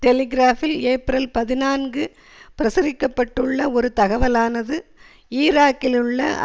டெலிகிராப்பில் April பதினான்கு பிரசுரிக்க பட்டுள்ள ஒரு தகவலானது ஈராக்கிலுள்ள